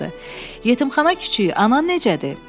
Yetimxana kiçiyi, anan necədir?